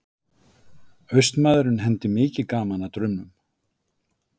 Austmaðurinn hendi mikið gaman að draumum.